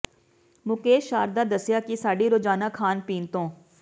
ਮੁਕੇਸ਼ ਸ਼ਾਰਦਾ ਦੱਸਿਆ ਕਿ ਸਾਡੀ ਰੋਜ਼ਾਨਾ ਖਾਣ ਪੀਣ ਤੋਂ